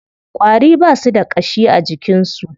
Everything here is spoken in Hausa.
Ƙwari ba su da ƙashi a jikin su.